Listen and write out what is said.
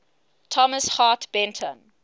thomas hart benton